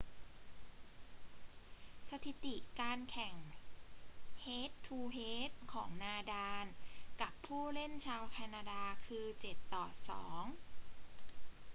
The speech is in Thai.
สถิติการแข่งเฮด-ทู-เฮดของนาดาลกับผู้เล่นชาวแคนาดาคือ 7-2